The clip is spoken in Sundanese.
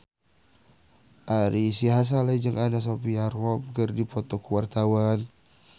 Ari Sihasale jeung Anna Sophia Robb keur dipoto ku wartawan